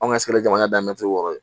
An ka sigi jamana daminɛ cogo o ye